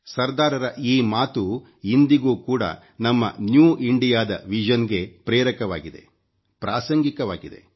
ಸರ್ದಾರ್ ರ ಈ ಮಾತು ಇಂದಿಗೂ ಕೂಡ ನಮ್ಮ ನ್ಯೂ ಇಂಡಿಯಾ ದ ವಿಷನ್ ಗೆ ಪ್ರೇರಕವಾಗಿದೆ ಪ್ರಾಸಂಗಿಕವಾಗಿದೆ